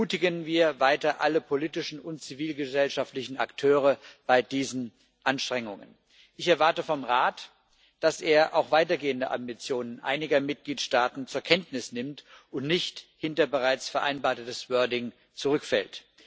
Ermutigen wir weiter alle politischen und zivilgesellschaftlichen Akteure bei diesen Anstrengungen. Ich erwarte vom Rat, dass er auch weitergehende Ambitionen einiger Mitgliedstaaten zur Kenntnis nimmt und nicht hinter bereits vereinbartes wording zurückfällt.